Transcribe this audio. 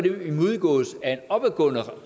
om